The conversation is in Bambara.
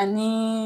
Ani